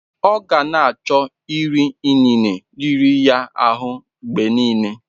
Ọ ka gana achọ iri inine riri ya ahụ mgbe nile?